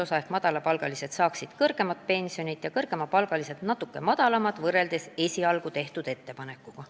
Nii saaksid madalapalgalised inimesed kõrgemat pensionit ja kõrgemapalgalised natuke madalamat pensionit võrreldes esialgu tehtud ettepanekuga.